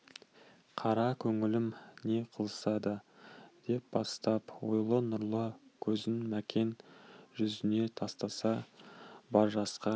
қара көңілім не қылса да деп бастап ойлы нұрлы көзін мәкен жүзіне тастаса бар жасқа